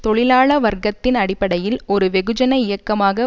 தொழிலாள வர்க்கத்தின் அடிப்படையில் ஒரு வெகுஜன இயக்கமாக